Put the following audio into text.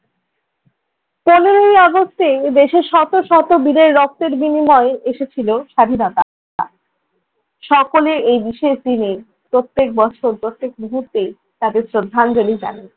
এই অগাস্টেই দেশের শত শত বীরের রক্তের বিনিময়ে এসেছিল স্বাধীনতা। সকলে এই বিশেষ দিনে প্রত্যেক বছর প্রত্যেক মুহূর্তে তাদের শ্রদ্ধাঞ্জলি জানাই।